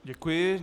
Děkuji.